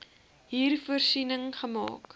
hier voorsiening gemaak